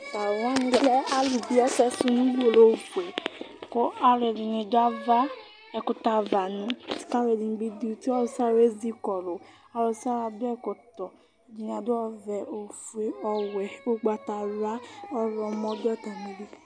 Tʋ alʋ wanɩ lɛ alʋ bɩe ɛsɛsʋ nʋ uwolowʋ fʋɛ Alʋ ɛdɩnɩ dʋ ɛkʋtɛ ava, ɛdɩnɩdʋ uti, akʋ alʋ ɛdɩ nʋ ɛdɩ ezɩkɔlʋ Ɔlʋ nʋ ɔlʋ adʋ ɛkɔtɔ Ɛdɩnɩ adʋ ɔvɛ, ofue, ɔwɛ, ugbatawla Ɔɣlɔmɔ dʋ atamɩli